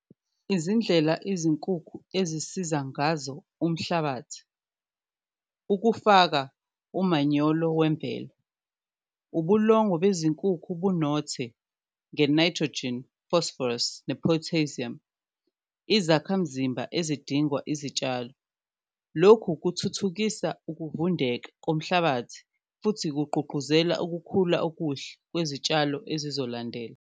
Izindlela izinkukhu ezisiza ngazo umhlabathi, ukufaka umanyolo wemvelo, ubulongwe bezinkukhu bunothe nge-nitrogen, phosphorus, ne-potassium izakhamzimba ezidingwa izitshalo. Lokhu kuthuthukisa ukuvundeka komhlabathi futhi kugqugquzela okukhula okuhle kwezitshalo ezizolandela.